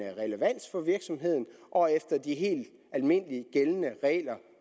relevans for virksomheden og efter de helt almindelige gældende regler